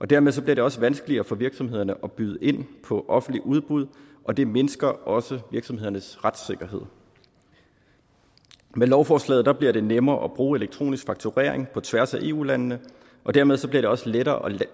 dermed bliver det også vanskeligere for virksomhederne at byde ind på offentlige udbud og det mindsker også virksomhedernes retssikkerhed med lovforslaget bliver det nemmere at bruge elektronisk fakturering på tværs af eu landene og dermed bliver det også lettere at